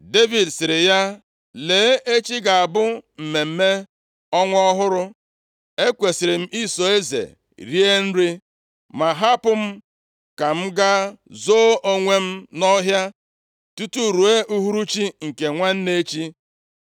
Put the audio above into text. Devid sịrị ya, “Lee echi ga-abụ mmemme ọnwa ọhụrụ, e kwesiri m iso eze rie nri. Ma hapụ m ka m ga zoo onwe m nʼọhịa tutu ruo uhuruchi nke nwanne echi.